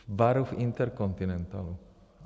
V baru v InterContinentalu.